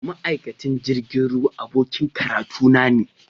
Ma’aikacin jirgin ruwa abokin karatuna ne.